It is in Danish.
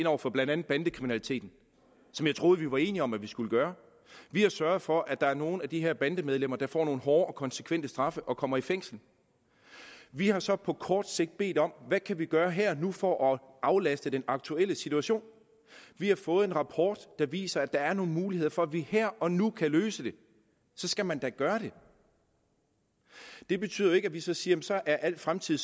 ind over for blandt andet bandekriminaliteten som jeg troede vi var enige om at vi skulle gøre vi har sørget for at der er nogle af de her bandemedlemmer der får nogle hårde og konsekvente straffe og kommer i fængsel vi har så på kort sigt bedt om hvad kan vi gøre her og nu for at aflaste i den aktuelle situation vi har fået en rapport der viser at der er nogle muligheder for at vi her og nu kan løse det så skal man da gøre det det betyder jo ikke at vi så siger at så er al fremtid